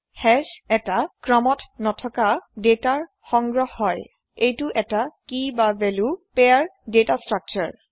hash এটা ক্ৰমত নথকা দাতাৰ হয় এইটো এটা কিভেল্যো পেয়াৰ দাটা স্ত্ৰাকচাৰ